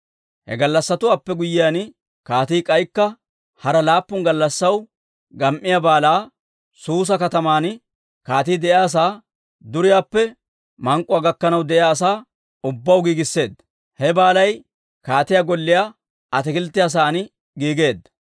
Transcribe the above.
He gallassatuwaappe guyyiyaan, kaatii k'aykka hara laappun gallassaw gam"iyaa baalaa, Suusa kataman kaatii de'iyaasaa, duriyaappe mank'k'uwaa gakkanaw de'iyaa asaa ubbaw giigisseedda. He baallay kaatiyaa golliyaa ataakilttiyaa sa'aan giigeedda.